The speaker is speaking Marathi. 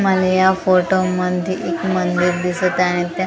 मला या फोटोमध्ये एक मंदिर दिसत आहे आणि त्या मंदी --